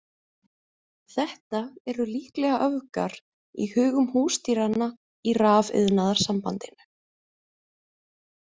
Þetta eru líklega öfgar í hugum húsdýranna í Rafiðnaðarsambandinu.